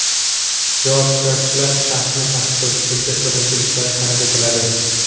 Javob: Ishtirokchilar shaxsni tasdiqlovchi hujjat bilan kelishlari talab etiladi.